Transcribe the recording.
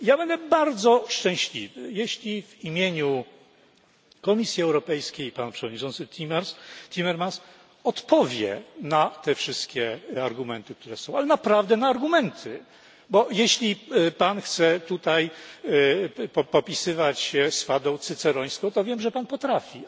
Ja będę bardzo szczęśliwy, jeśli w imieniu Komisji Europejskiej pan przewodniczący Timmermans odpowie na te wszystkie argumenty ale naprawdę na argumenty bo jeśli chce Pan tutaj popisywać się swadą cycerońską, to wiem, że Pan potrafi.